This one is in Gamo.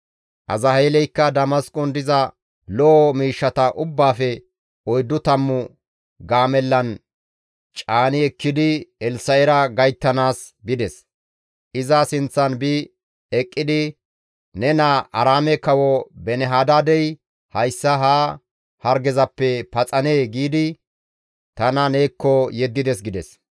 Azaheeleykka Damasqon diza lo7o miishshata ubbaafe oyddu tammu gaamellan caani ekkidi Elssa7era gayttanaas bides; iza sinththan bi eqqidi, «Ne naa Aaraame kawo Beeni-Hadaadey, ‹Hayssa ha hargezappe ta paxanee?› giidi tana neekko yeddides» gides.